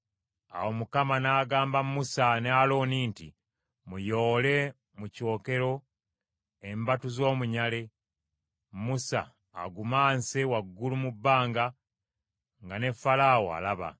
Awo Mukama n’agamba Musa ne Alooni nti, “Muyoole mu kyokero embatu z’omunyale, Musa agumanse waggulu mu bbanga nga ne Falaawo alaba.